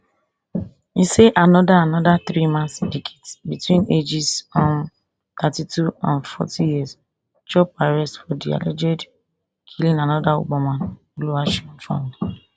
e say anoda anoda threeman syndicate between ages um thirty-two and forty years chop arrest for di alleged killing anoda uber driver oluwaseyi fowler